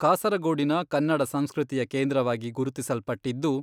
ಕಾಸರಗೋಡಿನ ಕನ್ನಡ ಸಂಸ್ಕೃತಿಯ ಕೇಂದ್ರವಾಗಿ ಗುರುತಿಸಲ್ಪಟ್ಟಿದ್ದು.